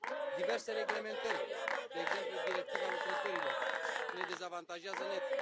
Diverse reglementări, de exemplu Directiva lucrătorilor, ne dezavantajează net.